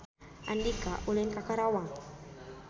Andika ulin ka Karawang